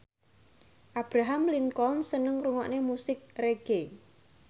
Abraham Lincoln seneng ngrungokne musik reggae